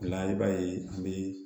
O la i b'a ye an bɛ